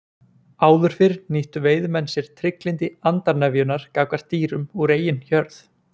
Áður fyrr nýttu veiðimenn sér trygglyndi andarnefjunnar gagnvart dýrum úr eigin hjörð.